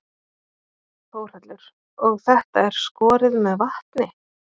Þórhallur: Og þetta er skorið með vatni?